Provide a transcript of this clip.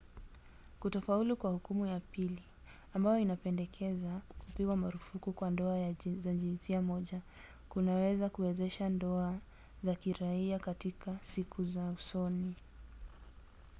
kutofaulu kwa hukumu ya pili ambayo inapendekeza kupigwa marufuku kwa ndoa za jinsia moja kunaweza kuwezesha ndoa za kiraia katika siku za usoni